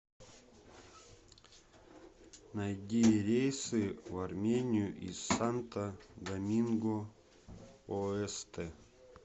найди рейсы в армению из санто доминго оэсте